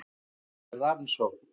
Það sé í rannsókn